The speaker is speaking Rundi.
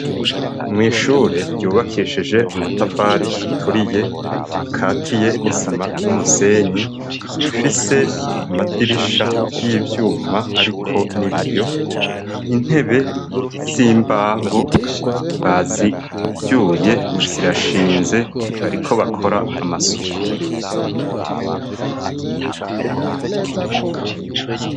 Mwishure ryubakeshije amatafari aturiye akatiye n'isima n'umusenyi ifise amadirisha y'ibyuma ariko n'ibiyo intebe z'imbaho bazibyuye zirashinze bariko bakora amasuku.